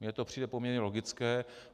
Mně to přijde poměrně logické.